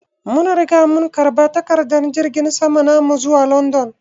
Mun Riga mun karba takadar jirgin sama namu zuwa London.